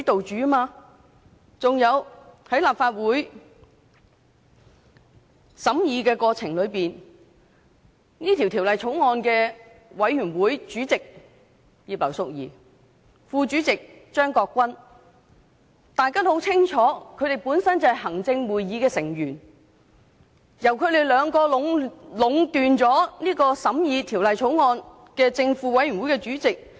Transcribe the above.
此外，在立法會審議《條例草案》的過程中，大家也很清楚法案委員會主席葉劉淑儀議員和副主席張國鈞議員本身是行政會議成員，二人壟斷了審議《條例草案》的法案委員會正副主席一職。